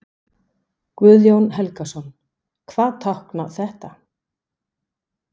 Guðjón Helgason: Hvað táknar þetta?